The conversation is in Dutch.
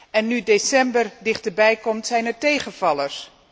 En nu december dichterbij komt, zijn er tegenvallers.